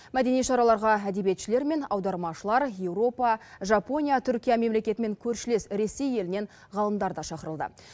мәдени шараларға әдебиетшілер мен аудармашылар еуропа жапония түркия мемлекеті мен көршілес ресей елінен ғалымдар да шақырылды